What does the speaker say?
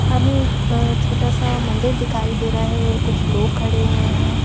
हमें एक छोटा सा मंदिर दिखाई दे रहा है और कुछ लोग खड़े हुए हैं।